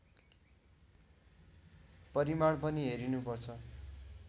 परिमाण पनि हेरिनुपर्छ